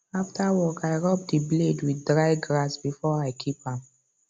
after work i rub the blade with dry grass before i keep am